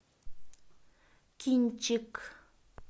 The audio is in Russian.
кинчик